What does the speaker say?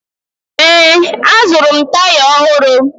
Ee, azụrụ m taya ọhụrụ